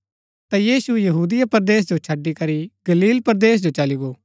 ता यीशु यहूदिया परदेस जो छड़ी करी गलील परदेस जो चली गो